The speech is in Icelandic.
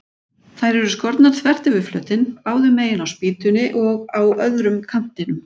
Þær eru skornar þvert yfir flötinn, báðu megin á spýtunni og á öðrum kantinum.